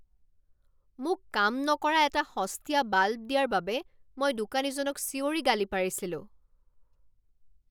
মোক কাম নকৰা এটা সস্তীয়া বাল্ব দিয়াৰ বাবে মই দোকানীজনক চিঞৰি গালি পাৰিছিলোঁ।